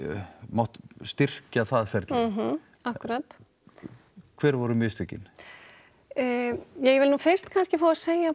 mátt styrkja það ferli akkúrat hver voru mistökin ég vil nú fyrst kannski fá að segja